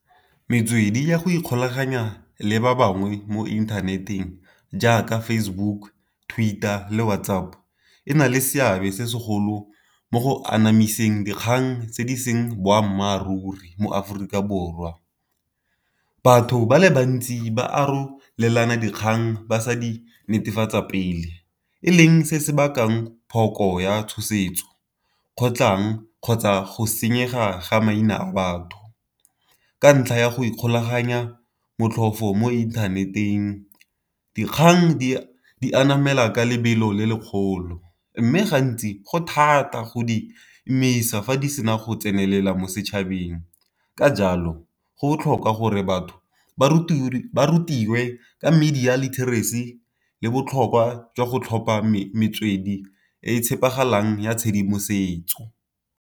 Metswedi ya go ikgolaganya le ba bangwe mo internet-eng jaaka Facebook, Twitter le WhatsApp, e na le seabe se segolo mo go anamiseng dikgang tse di seng boammaaruri mo Aforika Borwa. Batho ba le bantsi ba arolelana dikgang ba sa di netefatsa pele, e leng se se bakang phoko ya tshosetso kgotlang kgotsa go senyega ga maina a batho. Ka ntlha ya go ikgolaganya motlhofo mo inthaneteng, dikgang anamela ka lebelo le lekgolo mme gantsi go thata go di emisa fa di sena go tsenelela mo setšhabeng. Ka jalo go botlhokwa gore batho ba rutiwe ka media literacy le botlhokwa jwa go tlhopha metswedi e e tshepegalang ya tshedimosetso.